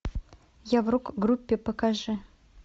я в рок группе покажи